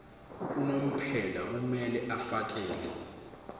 unomphela kumele afakele